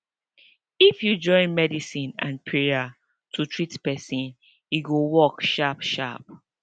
if you join medicine and prayer to treat pesin e go work sharp sharp